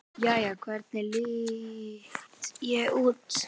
Jæja, hvernig lít ég út?